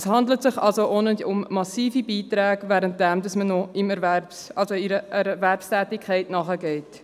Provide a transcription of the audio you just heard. Es handelt sich also auch nicht um massive Beiträge, während man noch einer Erwerbstätigkeit nachgeht.